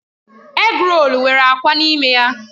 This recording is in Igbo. Égrolu nwere akwa n'ime ya.